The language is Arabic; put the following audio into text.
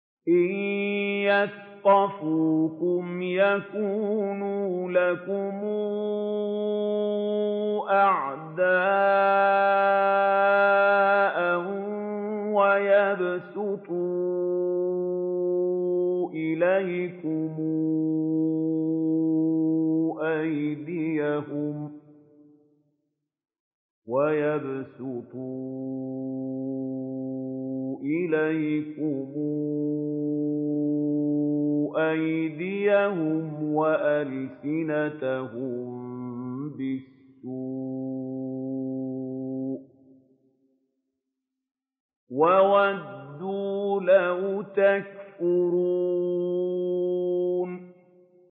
إِن يَثْقَفُوكُمْ يَكُونُوا لَكُمْ أَعْدَاءً وَيَبْسُطُوا إِلَيْكُمْ أَيْدِيَهُمْ وَأَلْسِنَتَهُم بِالسُّوءِ وَوَدُّوا لَوْ تَكْفُرُونَ